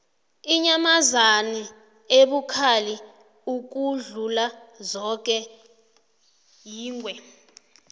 inyamazana ebukhali ukudlula zoke yingwe